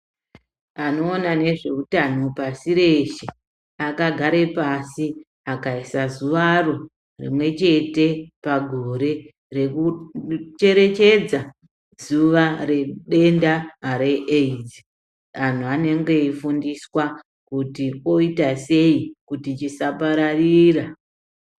Anoona nezveutano pasi reshe vakagara pasi vakaisa zuvaro rimwe chete pagore rekucherecheredza denda reAIDS vantu vanenge veifundiswa kuti voitasei kuti chisapararira.